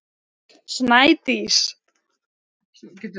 Snædís